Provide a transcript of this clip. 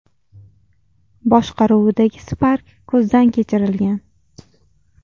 boshqaruvidagi Spark ko‘zdan kechirilgan.